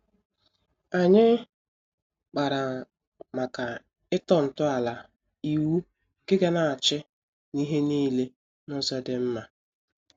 Anyị kpara màkà ịtọ nto ala ịwụ nke ga-na achị n'ihe niile n'ụzọ dị mma.